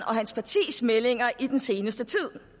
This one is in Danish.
og hans partis meldinger i den seneste tid